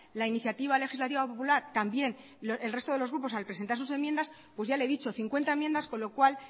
la iniciativa legislativa popular también el resto de los grupos al presentar sus enmiendas pues ya le he dicho cincuenta enmiendas con lo cual